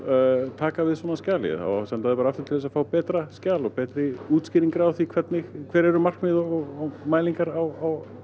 taka við svona skjali á að senda það bara aftur til að fá betra skjal og betri útskýringar á því hver eru markmiðin og mælingar á